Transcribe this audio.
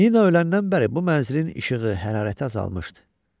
Nina öləndən bəri bu mənzilin işığı, hərarəti azalmışdı.